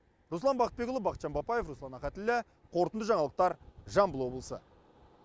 руслан бақытбекұлы бақытжан бапаев руслан ахатіллә қорытынды жаңалықтар жамбыл облысы